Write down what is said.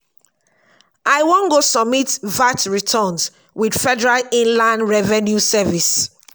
i wan go submit vat returns with federal inland revenue service.